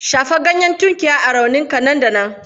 Shafa ganyen tunkiya a kan rauninka nan da nan.